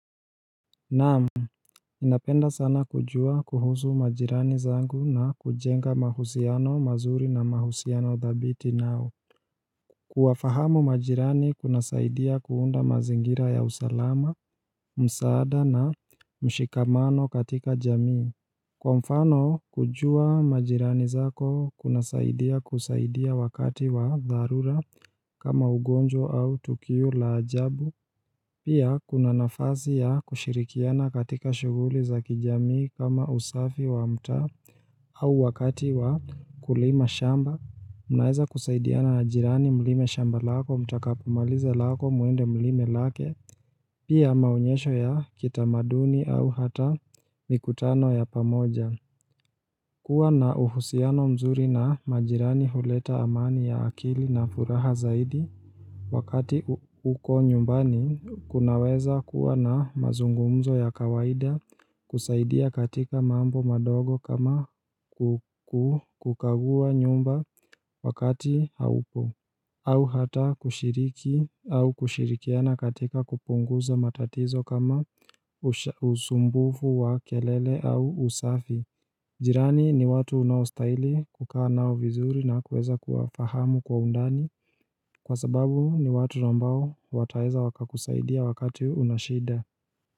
Naamu, ninapenda sana kujua kuhusu majirani zangu na kujenga mahusiano mazuri na mahusiano thabiti nao Kuwafahamu majirani kuna saidia kuunda mazingira ya usalama, msaada na mshikamano katika jamii Kwa mfano, kujua majirani zako kuna saidia kusaidia wakati wa dharura kama ugonjwa au tukiu la ajabu Pia kuna nafazi ya kushirikiana katika shuguli za kijamii kama usafi wa mta au wakati wa kulima shamba Munaeza kusaidia na ajirani mlime shamba lako mtakapomalize lako muende mlime lake Pia maunyesho ya kitamaduni au hata mikutano ya pamoja Kua na uhusiano mzuri na majirani huleta amani ya akili na furaha zaidi Wakati uko nyumbani, kunaweza kuwa na mazungumzo ya kawaida kusaidia katika mambo madogo kama kukagua nyumba wakati haupo au hata kushiriki au kushirikiana katika kupunguza matatizo kama usumbufu wa kelele au usafi Jirani ni watu unaustaili kukaa nao vizuri na kuweza kuwafahamu kwa undani kwa sababu ni watu nambao wataeza waka kusaidia wakati unashida.